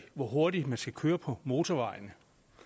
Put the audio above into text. hvor hurtigt man skal køre på motorvejen